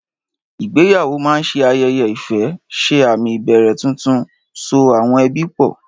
Ìgbéyàwó máa ń ṣe ayẹyẹ ìfẹ́, ṣe àmì ìbẹ̀rẹ̀ tuntun, so àwọn ẹbí pọ̀.